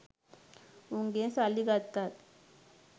උන්ගෙන් සල්ලි ගත්තත්